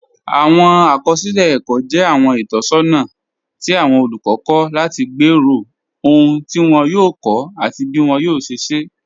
Awọn akọsilẹ ẹkọ jẹ awọn itọsọna ti awọn olukọ kọ lati gbẹ́rọ̀ ọhun ti wọn yòò kọ́, ati bí wọn yòò ṣẹ̀ ṣẹ̀.